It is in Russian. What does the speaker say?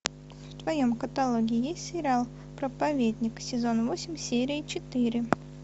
в твоем каталоге есть сериал проповедник сезон восемь серия четыре